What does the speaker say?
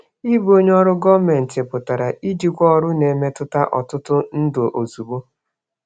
Ịbụ onye ọrụ gọọmentị pụtara ijikwa ọrụ na-emetụta ọtụtụ ndụ ozugbo.